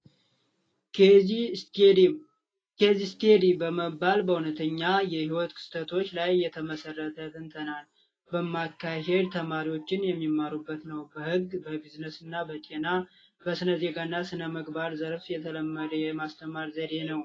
ኬዝስተዲ በመባል በእውነተኛ የህይወት ክስተት ላይ የተመሰረተ ትንተና በማካሄድ ተማሪዎች የሚመሩበት ነው በህግ በቢዝነስና በጤና በስነዜጋ እና በስነ ምግባር የተለመደ የማስተማር ዘዴ ነው።